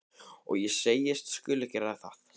Og ég segist skulu gera það.